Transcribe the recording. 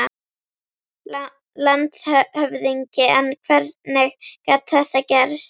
LANDSHÖFÐINGI: En hvernig gat þetta gerst?